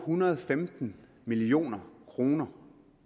hundrede og femten million kroner